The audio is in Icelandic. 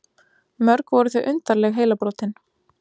Mörg voru þau undarleg heilabrotin.